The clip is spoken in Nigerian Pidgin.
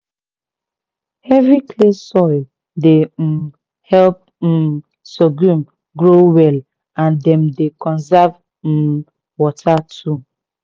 heavy clay soils dey um help um sorghum grow well and dem dey conserve um water too."